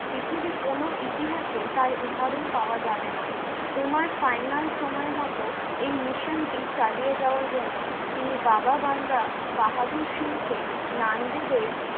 পৃথিবীর কোনো ইতিহাসে তার উদাহরণ পাওয়া যাবে না তোমার final সময়মতো এই mission টি চালিয়ে যাওয়ার জন্য তিনি বাবা বান্দা বাহাদুর সিংকে নান্দীদের